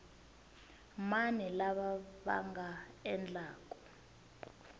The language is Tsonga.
mani lava va nga endlaku